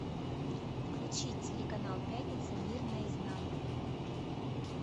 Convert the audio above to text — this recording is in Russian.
включи телеканал пятница мир наизнанку